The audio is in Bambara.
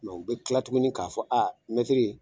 u bɛ kila tuguni k'a fɔ mɛtiri